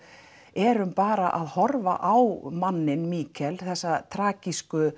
erum bara að horfa á manninn þessa tragísku